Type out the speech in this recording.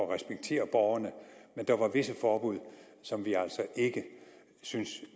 at respektere borgerne men der var visse forbud som vi altså ikke syntes